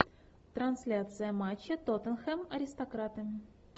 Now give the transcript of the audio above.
трансляция матча тоттенхэм аристократы